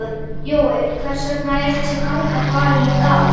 Jói, hvers vegna er þessi ganga farin í dag?